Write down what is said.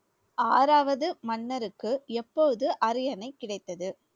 ஆறாவது மன்னருக்கு எப்போது அரியணை கிடைத்தது?